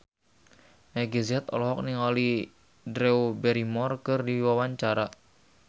Meggie Z olohok ningali Drew Barrymore keur diwawancara